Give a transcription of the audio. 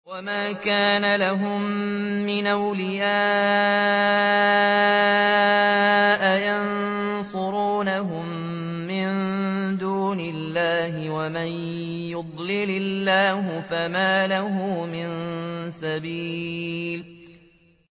وَمَا كَانَ لَهُم مِّنْ أَوْلِيَاءَ يَنصُرُونَهُم مِّن دُونِ اللَّهِ ۗ وَمَن يُضْلِلِ اللَّهُ فَمَا لَهُ مِن سَبِيلٍ